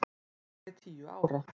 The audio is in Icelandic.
Núna er ég tíu ára.